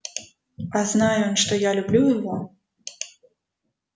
а зная что я люблю его